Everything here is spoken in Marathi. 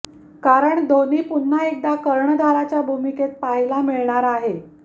कारण धोनी पुन्हा एकदा कर्णधाराच्या भूमिकेत पाहायला मिळणार आहे